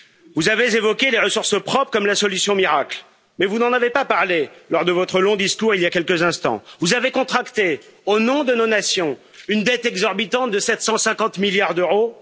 Vous avez évoqué les ressources propres comme étant la solution miracle, mais vous n'en avez pas parlé lors de votre long discours, il y a quelques instants. Vous avez contracté, au nom de nos nations, une dette exorbitante de 750 milliards d'euros.